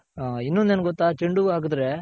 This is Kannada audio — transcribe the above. ಹ ಇನ್ನೊಂದ್ ಏನ್ ಗೊತ್ತ ಚೆoಡು ಹೂವ್ವ ಹಾಕದ್ರೆ.